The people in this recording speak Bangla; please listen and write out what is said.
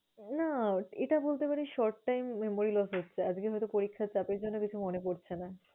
না এটা বলতে পারিস short time memory loss হচ্ছে আজকে হয়তো পরীক্ষার চাপে, এইজন্য হয়তো কিছু মনে পরছে না।